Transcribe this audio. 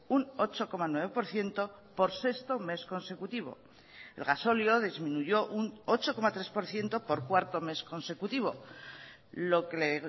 un ocho coma nueve por ciento por sexto mes consecutivo el gasóleo disminuyó un ocho coma tres por ciento por cuarto mes consecutivo lo que le